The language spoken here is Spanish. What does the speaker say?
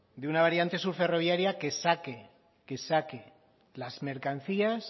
de una variante sur ferroviaria que saque las mercancías